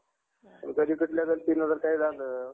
गलतीनं काय झालं